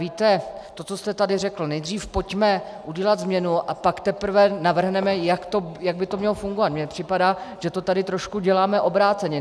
Víte, to, co jste tady řekl, nejdřív pojďme udělat změnu, a pak teprve navrhneme, jak by to mělo fungovat - mně připadá, že to tady trošku děláme obráceně.